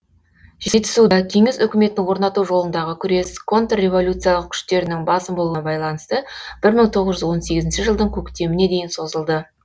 жетісуда кеңес үкіметін орнату жолындағы күрес контрреволюциялық күштерінің басым болуына байланысты бір мың тоғыз жүз он сегізінші жылдың көктеміне дейін созылды